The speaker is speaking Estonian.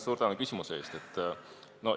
Suur tänu küsimuse eest!